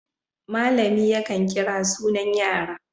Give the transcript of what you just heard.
Malami yakan kira sunan yara.